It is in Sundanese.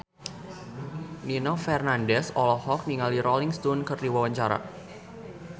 Nino Fernandez olohok ningali Rolling Stone keur diwawancara